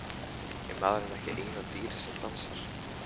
Er maðurinn ekki eina dýrið sem dansar?